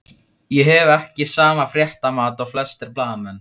Ég hef ekki sama fréttamat og flestir blaðamenn.